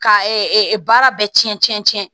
Ka baara bɛ cɛn cɛn cɛn